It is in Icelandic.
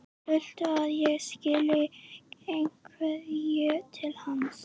Viltu að ég skili einhverju til hans?